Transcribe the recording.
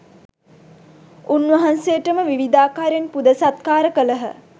උන්වහන්සේට ම විවිධාකාරයෙන් පුද සත්කාර කළහ.